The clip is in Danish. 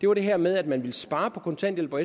var det her med at man ville spare på kontanthjælp og